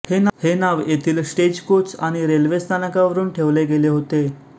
हे नाव येथील स्टेजकोच आणि रेल्वे स्थानकावरुन ठेवले गेले होते